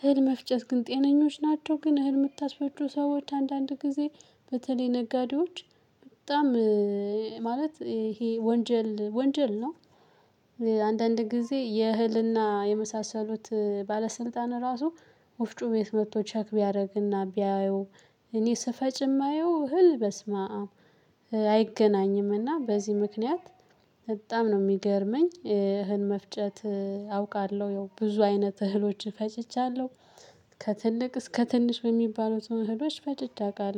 እህል መፍጨት ግን ጤነኞች ናቸው ግን እህል የምታስፈጩ ሰዎች አንዳንድ ጊዜ በተለይ ነጋዴዎች በጣም ማለት ይሄ ወንጀል ወንጀል ነው። አንዳንድ ጊዜ የእህልና የመሳሰሉት ባለስልጣን ራሱ ወፍጩ ቤት መጥቶ ቼክ ቢያደርግና ቢያየው እኔ ስፈጭ የማየው እህል በስመአም። አይገናኝም እና በዚህ ምክንያት በጣም ነው የሚገርመኝ። እህል መፍጨት አውቃለሁ ያው ብዙ አይነት እህሎችን ፈጭቻለሁ። ከትልቅ እስከ ትንሽ በሚባሉት እህሎች ፈጭቼ አውቃለሁ